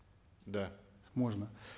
да можно